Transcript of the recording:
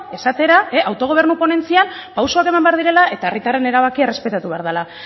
esatera autogobernu ponentzian pausoak eman behar direla eta herritarren erabakia errespetatu behar dela